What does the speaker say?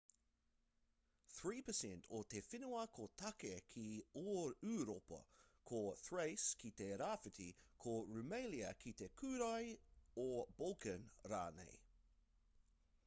3% o te whenua ko tāke ki ūropa ko thace ki te rāwhiti ko rumelia ki te kūrae o balkan rānei